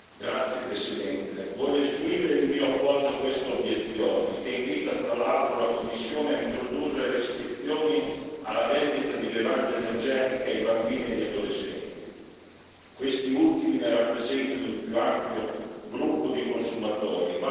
Signor Presidente, onorevoli colleghi, voglio esprimere il mio appoggio a quest'obiezione, che invita fra l'altro, la Commissione a introdurre restrizioni alla vendita di bevande energetiche ai bambini e agli adolescenti. Questi ultimi ne rappresentano il più ampio gruppo di consumatori.